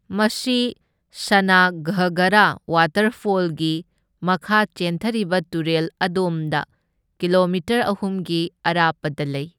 ꯃꯁꯤ ꯁꯅꯥꯘꯥꯒꯔꯥ ꯋꯥꯇꯔꯐꯣꯜꯒꯤ ꯃꯈꯥ ꯆꯦꯟꯊꯔꯤꯕ ꯇꯨꯔꯦꯜ ꯑꯗꯣꯝꯗ ꯀꯤꯂꯣꯃꯤꯇꯔ ꯑꯍꯨꯝꯒꯤ ꯑꯔꯥꯞꯄꯗ ꯂꯩ꯫